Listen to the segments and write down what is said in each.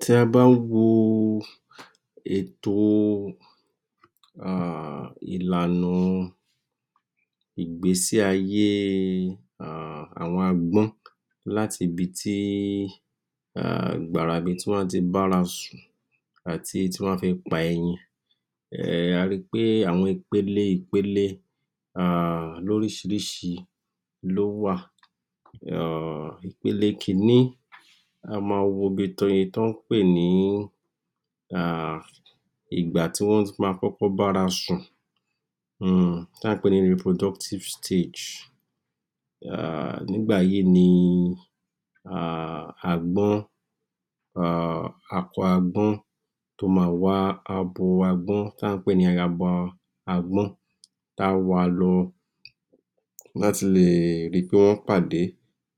Tí a bá wo ètò, um ìlànà, ìgbésé ayée? àwọn agb́ọ́n, láti ibití um gbàrà ìbítí wọ́n á ti bárasùn àti tí wọ́n á fi pa ẹyìn. um A rí pé àwọn ìpele ìpele lọ́rísìírisìí lówà. Ìpele kín ní, a máa wo ibi tí wọ́n ń pè ní, um ìgbà tí wọ́n máa bárasùn um tí à ń pè ní reproductive stage um Nígbà yì nì um agbọ́n um Akọ agbọ́n tó máa wá abo agbọ́n tí à ń pè ní ayaba agbọ́n táá wa lọ, láti leè ri pé wọ́n pàdé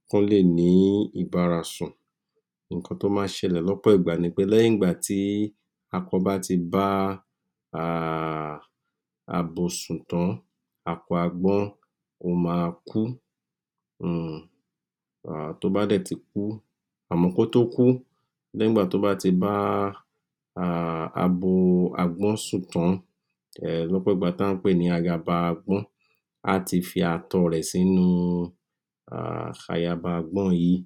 kán lè ní ìbárasùn. Ǹkan tó máa ń ṣẹlẹ̀ lọ́pọ̀ ìgbà ni pé lẹ́yìn ìgbà tí akọ bá ti bá?, abo sùn tán. akọ agbọ́n ó máa kú. um Tó bá dẹ̀ ti kú, à mọ́ o kó tó kú nígbàtí ó bá ti báá um abo agbọ́n sùn tán lọ́pọ̀ ìgbà tí à ń pè ní ayaba agbọ́n, á ti fi ààtọ̀ rẹ̀ sínú ayaba agb́ọ́n yìí.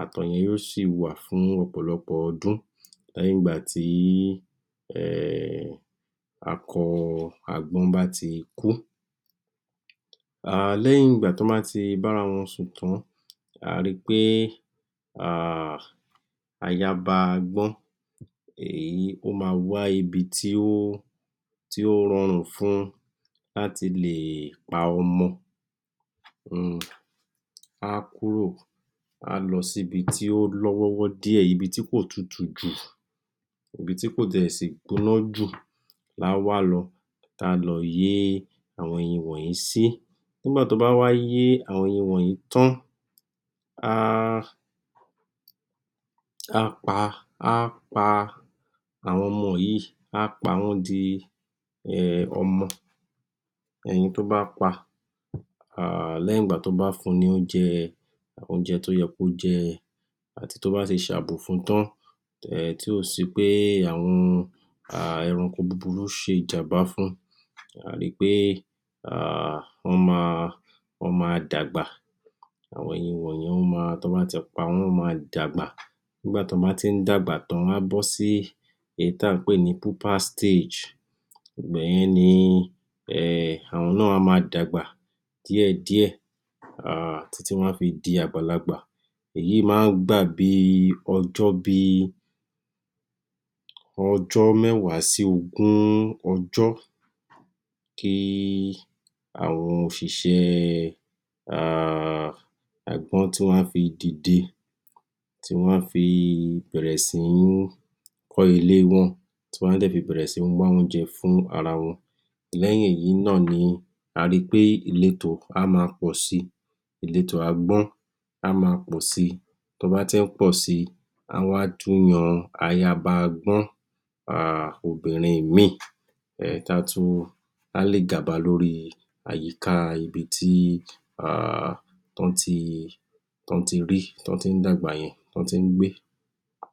Ààtọ̀ yẹn yóò sì wà fún ọ̀pọ̀lọpọ̀ ọdún, lẹ́yìn ìgbà tí ayaba agbọ́n kú. um Lẹ́yìn ìgbà tí wọ́n bá ti bára wọn sùn tán, a ri pé um ayaba agbọ́n um o maa wá um ibi tí ó rọrùn fún un, láti le pa ọmọ um á kúrò, á lọ síbi tí ó lọ́wọ́wọ́ díẹ̀, ibi tí kò tutù jù, ibi tí kò dẹ̀ sí gbóná jù laá wá lọ, táá lọ yé àwọn ẹyin wọ̀nyí sí. Nígbà tó bá wá yé àwọn wọ̀nyí tán, á pa àwọn ọmọ yìí, á pa wọ́n dí ọmọ. Ẹyin tó bá pa, um lẹ́yìn ìgbà tó bá fun l’óúnjẹ. Oúnjẹ tó yẹ kó jẹ àti tó bá ti ṣe àbò fun tán, um tí ò sì pé àwọn ẹranko buburu ṣe ìjàǹbá fún, tàbí pé wọ́n máa dàgbà. Àwọn ẹyin wọ̀nyẹn tó bá ti pa wọ́n, wọ́n má dàgbà. Nígbàtí wọ́n bá ti ń dàgbà tán, wọn á bọ́ sí èyí tí à ń pè ní pupa stage. Ìgbà yẹn ni um áwọn náà a ma dàgbà díẹ̀ díẹ̀, um títí wọ́n á fi di àgbàlagbà. Èyí ma ń gbà bíi ọjọ́ bíi ọjọ́ mẹ́wàá sí ogún ọjọ́. Kí àwọn òṣìṣẹ́ um agbọ́n tí wọ́n á fi dìde, tí wọ́n á fi bẹ̀rẹ̀ sí ní kọ́ ilé wọ́n, tí wọ́n á dẹ̀ fi bẹ̀rẹ̀ sí ní wá oúnjẹ fún ara wọ́n. Lẹ́yìn èyí náà ni a ríi pé, ìletò á máa pọ̀ si, ìletò agbọ́n á máa pọ̀ si. Tí wọ́n bá ti ń pọ̀ si, wọ́n á wá tún yan ayaba agbọ́n, um obìnrin mìí tá tún, á lè gàba lórí àyíká ibití um tán ti rí, tí wọ́n ti ń dàgbà yẹn tán ti ń gbé.